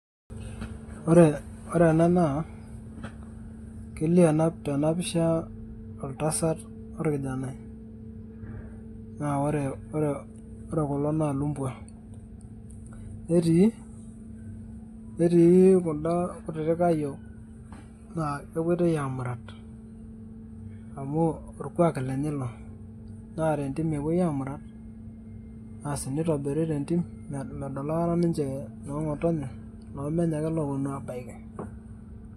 Ore ore ena naa, kelio tena pisha oltasat orkijanai. Na ore kulo na lumbwa. Netii kuda kutitik ayiok naa kepoitoi aamurat. Amu orkuak lenye ilo. Na tentim epoi amurat, asi nitobiri tentim medol aikata ninche noong'otonye, lomenye ake loponu abaiki.